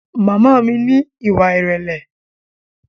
Màmá mi ní ìwà ìrẹ̀lẹ́